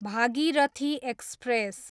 Bhagirathi express